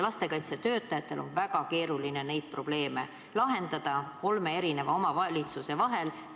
Lastekaitsetöötajatel on väga keeruline neid probleeme lahendada kolme omavalitsuse vahel.